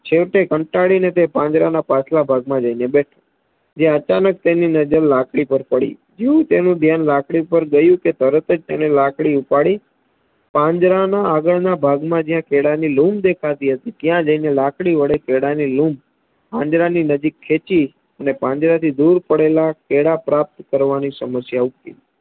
પાંજરાના આગળ ના ભાગમાં જ્યાં કેળાની લુમ્બ દેખા ટી હતી ત્યાં જયને કેળાની લુમ્બ પાંદડાની નજીક ખેંચી અને પાંજરાથી દૂર પડેલા કેળા પ્રાપ્ત કરવાની સમસ્યા ઉકેલી